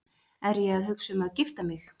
Er ég að hugsa um að gifta mig?